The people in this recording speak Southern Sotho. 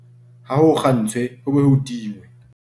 Ha ho kgantshwe ho be ho tingwe